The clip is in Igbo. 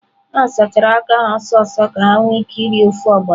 Ha sachara aka ha ọsọ ọsọ ka ha nwee ike iri ofe ogbono.